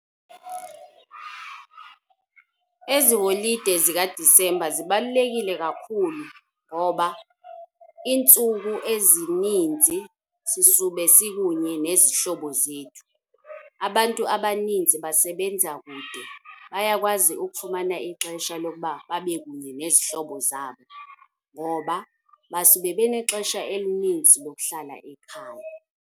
Ezi holide zikaDisembha zibalulekile kakhulu ngoba iintsuku ezininzi sisube sikunye nezihlobo zethu. Abantu abaninzi basebenza kude, bayakwazi ukufumana ixesha lokuba babe kunye nezihlobo zabo, ngoba basuke benexesha elininzi lokuhlala ekhaya.